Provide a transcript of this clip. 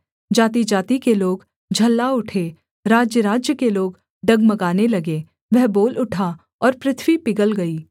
जातिजाति के लोग झल्ला उठे राज्यराज्य के लोग डगमगाने लगे वह बोल उठा और पृथ्वी पिघल गई